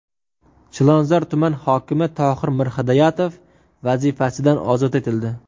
Chilonzor tuman hokimi Tohir Mirhidoyatov vazifasidan ozod etildi.